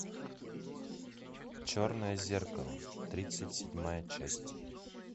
черное зеркало тридцать седьмая часть